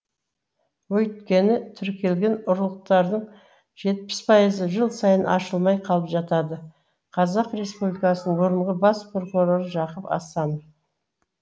өйткені тіркелген ұрлықтардың жетпіс пайызы жыл сайын ашылмай қалып жатады қазақстан республикасының бұрынғы бас прокуроры жақып асанов